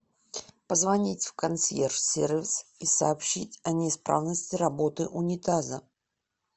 позвонить в консьерж сервис и сообщить о неисправности работы унитаза